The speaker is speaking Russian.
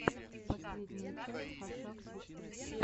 последняя часть хашак систерс